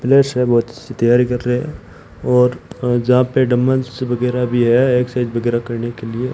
फ्लेयर्स है बहोत अच्छी तैयारी कर रहे है और जहां पे डंबल्स वगैरा भी है एक्ससाइज वगैरा करने के लिए।